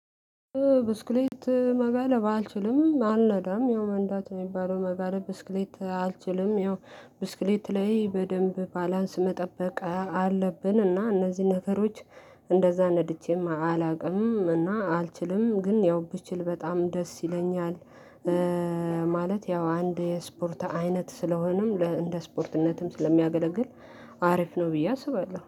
ብስክሌት መጋለብ አልችልም። አልነዳም ያው መንዳት የሚባለው መጋለብ ብስክሌት አልችልም። ያው ብስክሌት ላይ በደንብ ባላንስ መጠበቅ አለብን። እና እነዚህ ነገሮች እንደዛ ነድቼም አላውቅም። እና አልችልም። ግን ያው ብችል በጣም ደስ ይለኛል። ማለት ያው አንድ የስፖርት አይነት ስለሆነም እንደ ስፖርትነትም ስለሚያገለግል አሪፍ ነው ብዬ አስባለሁ።